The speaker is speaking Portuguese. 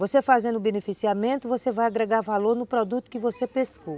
Você fazendo o beneficiamento, você vai agregar valor no produto que você pescou.